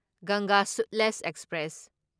ꯒꯪꯒꯥ ꯁꯨꯠꯂꯦꯖ ꯑꯦꯛꯁꯄ꯭ꯔꯦꯁ